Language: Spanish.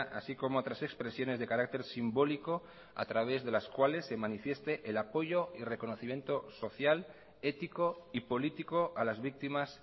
así como otras expresiones de carácter simbólico a través de las cuales se manifieste el apoyo y reconocimiento social ético y político a las víctimas